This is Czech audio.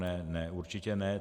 Ne, určitě ne.